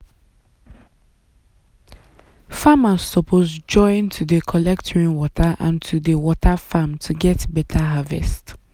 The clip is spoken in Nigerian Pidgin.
farmers suppose join to dey collect rainwater and to dey water farm to get better harvest.